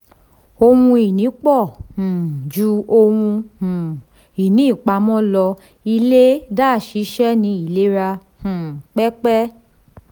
ohun ìní pọ̀ um ju ohun um ìní ìpàmọ́ lọ ilé-iṣẹ́ ní ìlera um pépé.